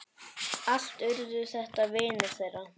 Allt urðu þetta vinir þeirra.